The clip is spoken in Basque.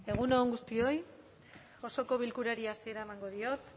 egun on guztioi osoko bilkurari hasiera emango diot